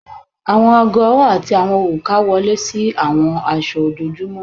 Awọn aago ọwọ ati awọn oruka wọle si awọn aṣọ ojoojumọ